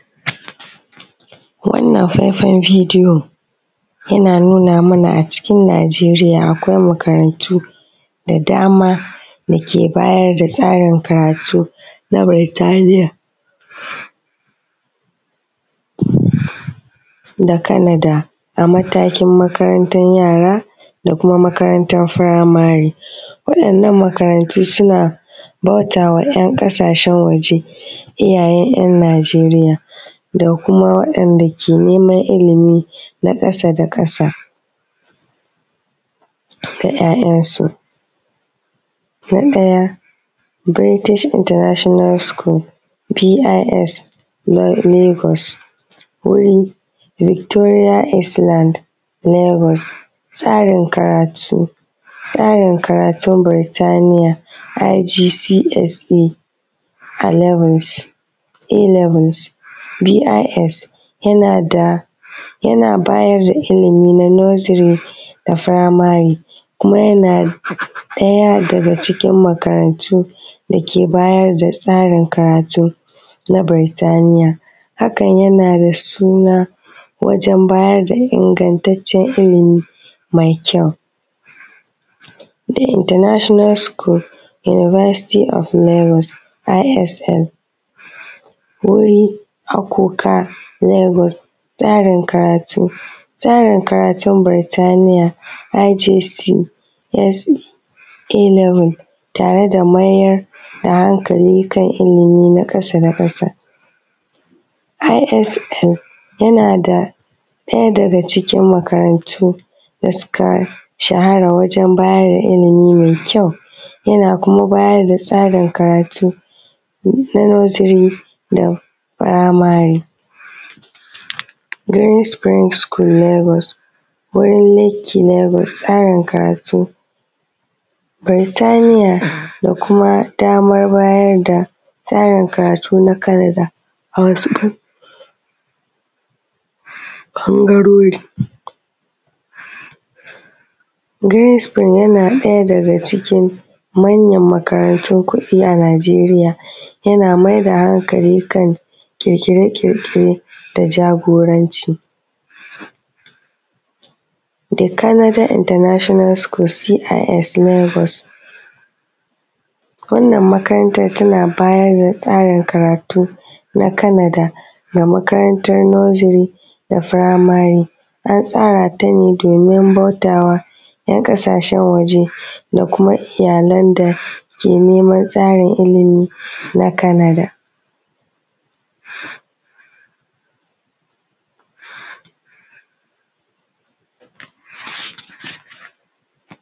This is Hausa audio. Wannan faifan bidiyo yana nuna mana a cikin Najeriya akwai makarantu da dama dake bayar da tsarin karatu na Birtaniya da Kanada, matakin makarantan yara da kuma makarantan firimari. Wa’yannan makarantu suna bauta ma ‘yan ƙasashen waje, iyayen ‘yan Najeriya da kuma wa’yanda ke neman ilimi na ƙasa da ƙasa da ‘ya’yansu. Na ɗaya British International School bisa tsarin karatun Birtaniya, i g p s b i s yana bayar da ilimi nasiri da firamari kuma yana ɗaya daga cikin makarantu dake bayar da tsarin karatu na Birtaniya. Hakan yana da suna wajen bayar da ingantaccen ilimi mai kyau. International School University Allowance i s h wuri Akuka Legas, tsarin karatu Birtaniya i g p ilimi tare da mayar da hankali da ilimi na ƙasa da ƙasa. i s l yana ɗaya daga cikin makarantan, tana bayar da tsarin karatu na Kanada da makarantan nuziri da firimari. Ana tsarata ne domin bauta ma ‘yan ƙasashen waje da kuma ilayalan da neman tsarin ilimi na Kanada.